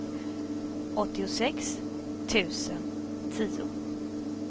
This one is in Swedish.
åttiosex tusen tio